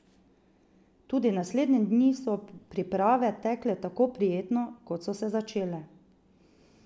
Tudi naslednje dni so priprave tekle tako prijetno, kot so se začele.